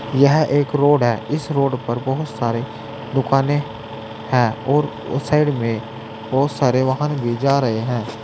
यह एक रोड है इस रोड पर बहुत सारे दुकानें है और उस साइड में बहुत सारे वाहन भी जा रहे हैं।